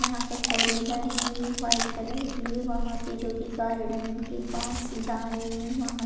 यहाँ पे four wheeler हैं ये वाइट कलर की वहाँ पे जो कि गारडन के पास जा रही हैं वहाँ --